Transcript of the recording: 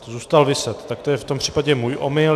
Zůstal viset, tak to je v tom případě můj omyl.